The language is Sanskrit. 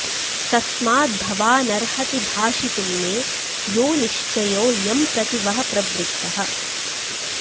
तस्माद्भवानर्हति भाषितुं मे यो निश्चयो यं प्रति वः प्रवृत्तः